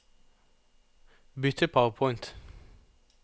bytt til PowerPoint